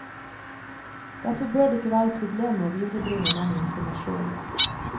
Derfor bør det ikke være problemer med å viderebringe denne informasjonen.